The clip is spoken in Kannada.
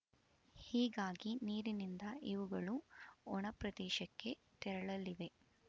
ಹೀಗಾಗಿ ನೀರಿನಿಂದ ಇವುಗಳು ಒಣಪ್ರದೇಶಕ್ಕೆ ತೆರಳಲಿವೆ